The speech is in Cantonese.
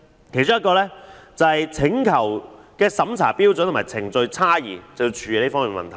其中一個是處理有關"請求的審查標準和程序差異"的問題。